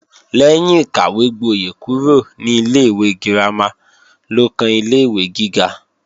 Lẹ́yìn ìkàwégbóyè kúrò ní ilé-ìwé girama ló kan ilé-ìwé gíga